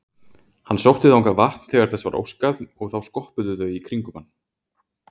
Hann sótti þangað vatn þegar þess var óskað og þá skoppuðu þau í kringum hann.